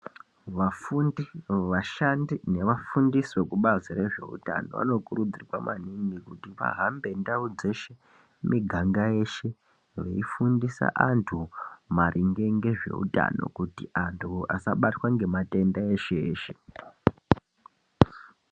Vafunda vashandi nevafundisi vekubazi rezveutano vanokurudzirwa maningi kuti vahambe ndao dzeshe nemiganga yeshe veifundisa antu maringe nezveutano kuti antu asabatwa ngeamatenda eshe eshe .